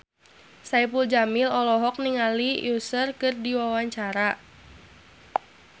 Saipul Jamil olohok ningali Usher keur diwawancara